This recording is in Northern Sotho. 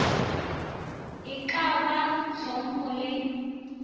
e ka ba hlompho le